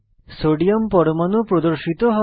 sodium পরমাণু প্রদর্শিত হয়